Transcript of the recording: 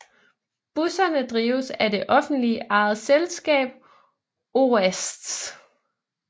Busserne drives af det offentligt ejede selskab OASTH